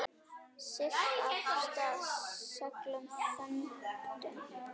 Siglt af stað seglum þöndum.